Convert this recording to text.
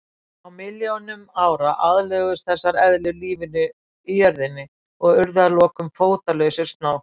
Á milljónum ára aðlöguðust þessar eðlur lífinu í jörðinni og urðu að lokum fótalausir snákar.